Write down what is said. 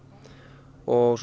og